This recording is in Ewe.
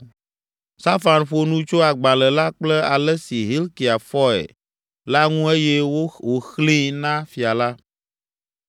Safan ƒo nu tso agbalẽ la kple ale si Hilkia fɔe la ŋu eye wòxlẽe na fia la.